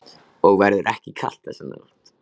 Og verður ekki kalt þessa nótt.